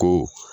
Ko